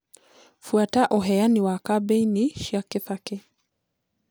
fuata uheani wa kambiini cĩa kibaki